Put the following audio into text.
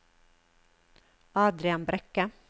Adrian Brekke